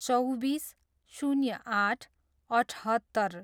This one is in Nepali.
चौबिस, शून्य आठ, अठहत्तर